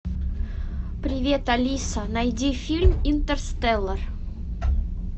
привет алиса найди фильм интерстеллар